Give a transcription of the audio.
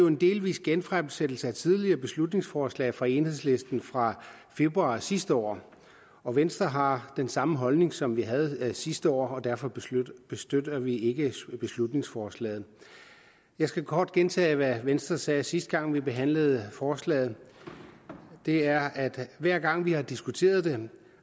en delvis genfremsættelse af et tidligere beslutningsforslag fra enhedslisten fra februar sidste år og venstre har den samme holdning som vi havde sidste år og derfor støtter vi ikke beslutningsforslaget jeg skal kort gentage hvad venstre sagde sidste gang vi behandlede forslaget det er at hver gang vi har diskuteret det